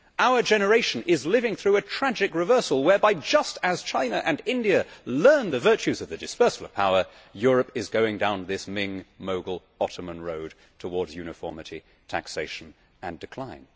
Our generation is living through a tragic reversal whereby just as China and India learned the virtues of the dispersal of power, Europe is going down this Ming, Mogul, and Ottoman road towards uniformity, taxation and decline.